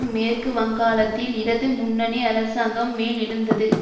மேற்கு வங்காளத்தில் இடது முன்னணி அரசாங்கம் மேல்எழுந்தது